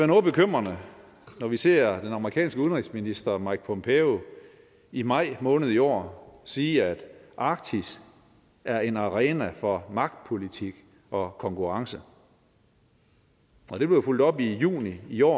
noget bekymrende når vi ser den amerikanske udenrigsminister mike pompeo i maj måned i år sige at arktis er en arena for magtpolitik og konkurrence og det blev fulgt op i juni i år